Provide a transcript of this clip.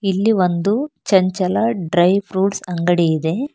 ಇಲ್ಲಿ ಒಂದು ಚಂಚಲ ಡ್ರೈ ಫ್ರೂಟ್ಸ್ ಅಂಗಡಿ ಇದೆ.